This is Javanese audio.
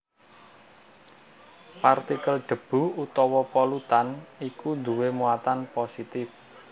Partikel debu utawa polutan iku duwé muatan positif